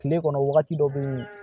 Kile kɔnɔ wagati dɔ be yen